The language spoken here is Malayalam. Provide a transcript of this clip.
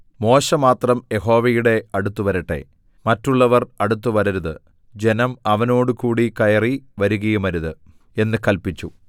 മോശെ മാത്രം യഹോവയുടെ അടുത്തുവരട്ടെ മറ്റുള്ളവർ അടുത്തുവരരുത് ജനം അവനോടുകൂടി കയറി വരുകയുമരുത് എന്ന് കല്പിച്ചു